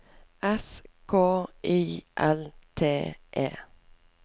S K I L T E